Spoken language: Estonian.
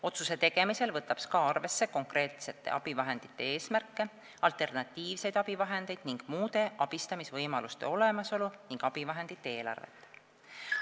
Otsuste tegemisel võtab SKA arvesse konkreetsete abivahendite eesmärke, alternatiivseid abivahendeid, muude abistamisvõimaluste olemasolu ning abivahendite eelarvet.